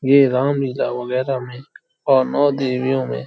ये रामलीला वगैरा में और नौ देवियों में --